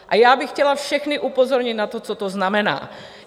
A já bych chtěla všechny upozornit na to, co to znamená.